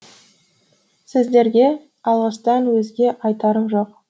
сіздерге алғыстан өзге айтарым жоқ